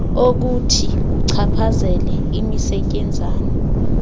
okuthi kuchaphazele imisetyenzana